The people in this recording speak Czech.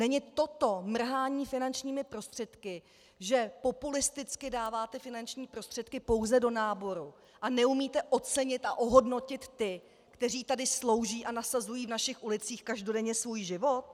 Není toto mrhání finančními prostředky, že populisticky dáváte finanční prostředky pouze do náboru a neumíte ocenit a ohodnotit ty, kteří tady slouží a nasazují v našich ulicích každodenně svůj život?